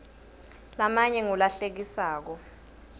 lamanye ngula hlekisako